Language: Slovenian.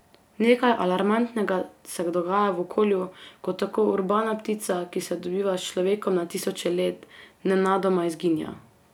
Nekaj alarmantnega se dogaja v okolju, ko tako urbana ptica, ki sobiva s človekom na tisoče let, nenadoma izginja.